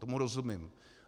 Tomu rozumím.